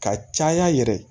Ka caya yɛrɛ